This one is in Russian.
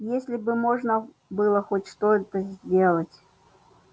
если бы можно было хоть что-то сделать